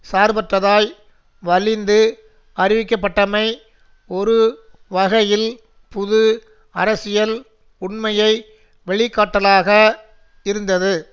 சார்பற்றதாய் வலிந்து அறிவிக்கப்பட்டமை ஒரு வகையில் புது அரசியல் உண்மையை வெளிக்காட்டலாக இருந்தது